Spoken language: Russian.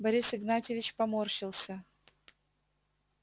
борис игнатьевич поморщился